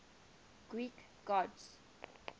greek gods